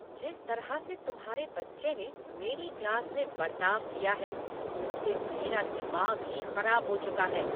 जिस तरह से तुम्हारे बच्चे ने मेरी क्लास में बर्ताव किया है, उससे मेरा दिमाग ही खराब हो चुका है!